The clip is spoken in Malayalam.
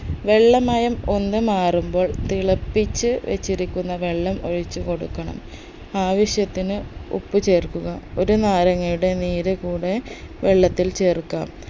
വെള്ളമയം ഒന്ന് മാറുമ്പോൾ തിളപ്പിച്ച് വച്ചിരിക്കുന്ന വെള്ളം ഒഴിച്ച് കൊടുക്കണം ആവശ്യത്തിന് ഉപ്പ് ചേർക്കുക ഒരു നാരങ്ങയുടെ നീര് കൂടെ വെള്ളത്തിൽ ചേർക്കണം